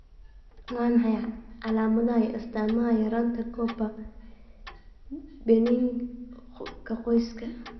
Waa maxay calaamadaha iyo astaamaha yaraanta Copper, benign-ka qoyska?